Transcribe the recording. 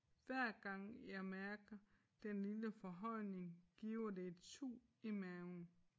Hver gang jeg mærker den lille forhøjning giver det et sug i maven